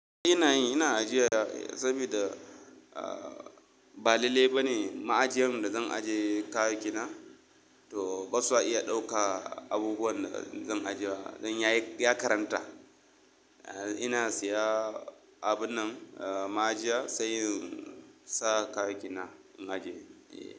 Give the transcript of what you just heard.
Ina yi. Ina ajiya saboda ba lalle ba ne ma'ajiyan da zan ajiye kayayyaki na, to ba su iya ɗauka abubuwan da zan ajiya. Don yayi, ya karanta. Ina siya abun nan ma'ajiya, sai in sa kayayyaki na in ajiye.